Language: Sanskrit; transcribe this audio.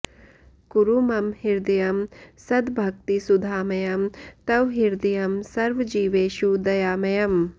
कुरु मम हृदयं सद्भक्तिसुधामयं तव हृदयं सर्वजीवेषु दयामयम्